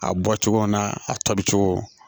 A bɔ cogo n'a a tɔ bi cogo